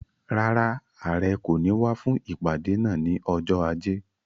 Rárá, Àrẹ kò ní wá fún ìpàdé náà ni ọjọ́ ajé.